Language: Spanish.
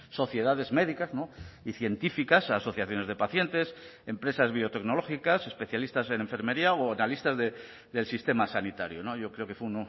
sociedades médicas y científicas asociaciones de pacientes empresas biotecnológicas especialistas en enfermería o analistas del sistema sanitario yo creo que fue